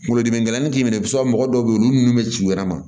Kunkolodimi gɛlɛnnin t'i minɛ i b'a sɔrɔ mɔgɔ dɔw bɛ yen olu nun bɛ ci u yɛrɛ ma